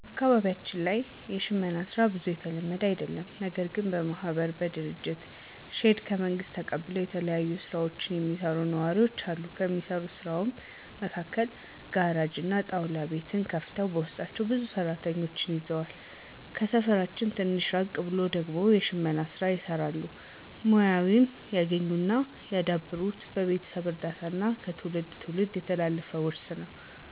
አካባቢያችን ላይ የሽመና ሥራ ብዙም የተለመደ አደለም። ነገርግን በማህበር በመደራጀት ሼድ ከመንግስት ተቀብለው የተለያዩ ስራዎችን የሚሰሩ ነዋሪወች አሉ። ከሚሰሩት ስራም መካከል ጋራጅ እና ጣውላ ቤት ከፍተው በውስጣቸው ብዙ ሰራተኞችን ይዘዋል። ከሰፈራችን ትንሽ ራቅ ብሎ ደግሞ የሽመና ሥራ ይሰራሉ። ሙያውንም ያገኙት እና ያዳበሩት በቤተሰብ እርዳታ እና ከትውልድ ትውልድ የተላለፈ ውርስ ነው።